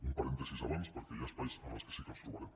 un parèntesi abans perquè hi ha espais en els que sí que ens trobarem